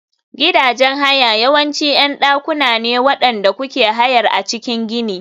Gidajen haya yawanci ƴan dakuna ne waɗanda kuke hayar a cikin gini.